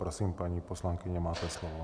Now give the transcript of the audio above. Prosím, paní poslankyně, máte slovo.